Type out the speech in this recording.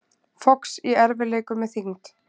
Fox í erfiðleikum með þyngd